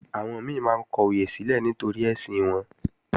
Àwọn mi máa ń kọyè sílẹ̀ nítorí ẹ̀sìn wọn